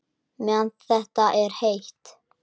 Meðan það er heitt.